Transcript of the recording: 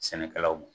Sɛnɛkɛlaw